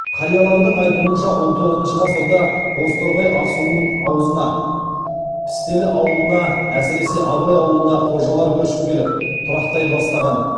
қариялардың айтуынша он тоғызыншы ғасырда бозторғай асуының аузына пістелі ауылына әсіресе абай ауылына қожалар көшіп келіп тұрақтай бастаған